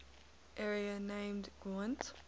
area named gwent